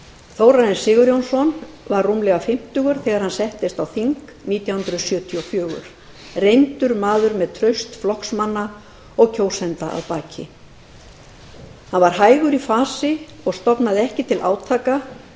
þórarinn sigurjónsson var rúmlega fimmtugur þegar hann settist á þing nítján hundruð sjötíu og fjögur reyndur maður með traust flokksmanna og kjósenda að baki hann var hægur í fasi og stofnaði ekki til átaka